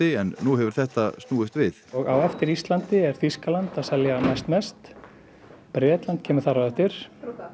en nú hefur þetta snúist við og á eftir Íslandi er Þýskaland að selja næstbest Bretland kemur þar á eftir